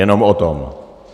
Jenom o tom.